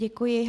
Děkuji.